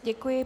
Děkuji.